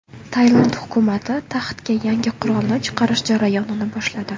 Tailand hukumati taxtga yangi qirolni chiqarish jarayonini boshladi.